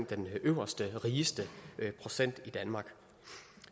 den øverste rigeste procent i danmark